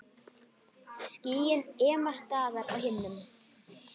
Skýin ema staðar á himnum.